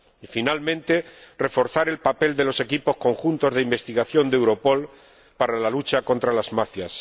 y, finalmente, reforzar el papel de los equipos conjuntos de investigación de Europol para la lucha contra las mafias.